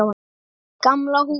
Gamla húsið.